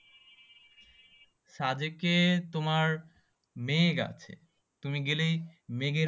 সাদেকে তোমার মেঘ আছে তুমি গেলেই মেঘের